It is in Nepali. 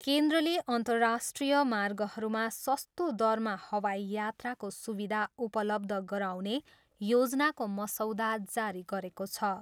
केन्द्रले अन्तराष्ट्रिय मार्गहरूमा सस्तो दरमा हवाई यात्राको सुविधा उपलब्ध गराउने योजनाको मसौदा जारी गरेको छ।